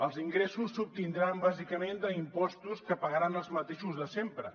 els ingressos s’obtindran bàsicament d’impostos que pagaran els mateixos de sempre